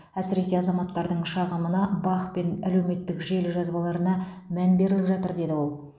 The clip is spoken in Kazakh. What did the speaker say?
әсіресе азаматтардың шағымына бақ пен әлеуметтік желі жазбаларына мән беріліп жатыр деді ол